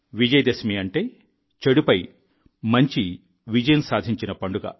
విజయ దశమి అంటే చెడుపై మంచి విజయం సాధించిన పండుగ